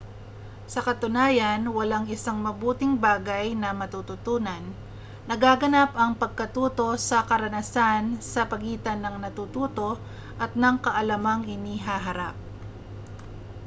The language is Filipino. sa katunayan walang isang mabuting bagay na matututunan nagaganap ang pagkatuto sa karanasan sa pagitan ng natututo at ng kaalamang inihaharap